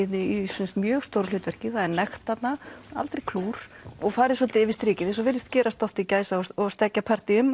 í mjög stóru hlutverki það er nekt þarna aldrei klúr og farið svolítið yfir strikið eins og virðist gerast oft í gæsa og